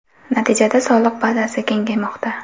Natijada soliq bazasi kengaymoqda.